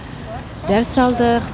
дәріс алдық